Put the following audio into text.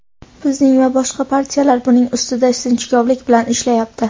Bizning va boshqa partiyalar buning ustida sinchkovlik bilan ishlayapti.